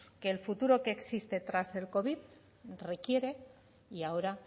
que el futuro que existe tras el covid requiere y ahora